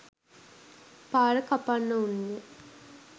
පාර කපන්නවුන් ය.